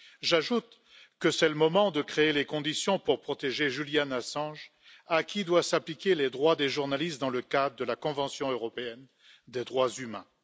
J'ajoute que c'est le moment de créer les conditions pour protéger Julian Assange, à qui doivent s'appliquer les droits des journalistes dans le cadre de la Convention européenne des droits humains.